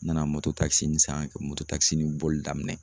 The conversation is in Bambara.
N nana mototakisini san ka mototakisini boli daminɛ